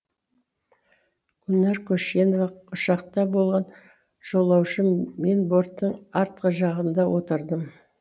гүлнар көшенова ұшақта болған жолаушы мен борттың артқы жағында отырдым